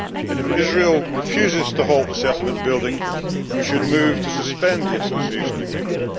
If Israel refuses to halt the settlement building, we should move to suspend the Association Agreement.